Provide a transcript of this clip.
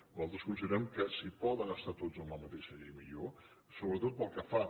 nosaltres considerem que si poden estar tots en la mateixa llei millor sobretot pel que fa